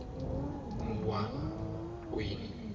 muwaweni